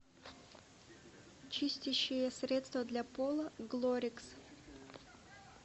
чистящее средство для пола глорикс